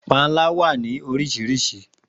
Panla wa ni awọn oriṣiriṣi.